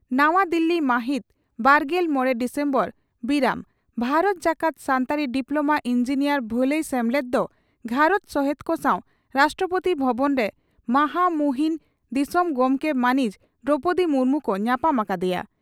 ᱱᱟᱣᱟ ᱫᱤᱞᱤ ᱢᱟᱦᱤᱛ ᱵᱟᱨᱜᱮᱞ ᱢᱚᱲᱮ ᱰᱤᱥᱮᱢᱵᱚᱨ (ᱵᱤᱨᱟᱹᱢ) ᱺ ᱵᱷᱟᱨᱚᱛ ᱡᱟᱠᱟᱛ ᱥᱟᱱᱛᱟᱲᱤ ᱰᱤᱯᱞᱚᱢᱟ ᱤᱸᱡᱤᱱᱤᱭᱟᱨ ᱵᱷᱟᱹᱞᱟᱹᱭ ᱥᱮᱢᱞᱮᱫ ᱫᱚ ᱜᱷᱟᱨᱚᱸᱡᱽ ᱥᱚᱦᱮᱛ ᱠᱚ ᱥᱟᱣ ᱨᱟᱥᱴᱨᱚᱯᱳᱛᱤ ᱵᱷᱚᱵᱚᱱ ᱨᱮ ᱢᱟᱦᱟᱢᱩᱦᱤᱱ ᱫᱤᱥᱚᱚᱢᱜᱚᱢᱠᱮ ᱢᱟᱹᱱᱤᱡ ᱫᱨᱚᱣᱯᱚᱫᱤ ᱢᱩᱨᱢᱩ ᱠᱚ ᱧᱟᱯᱟᱢ ᱟᱠᱟᱫᱮᱭᱟ ᱾